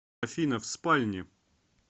афина в спальне